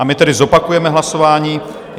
A my tedy zopakujeme hlasování.